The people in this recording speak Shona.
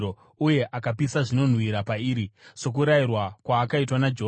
uye akapisa zvinonhuhwira pairi, sokurayirwa kwaakaitwa naJehovha.